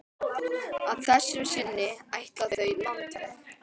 Að þessu sinni ætla þau landveg.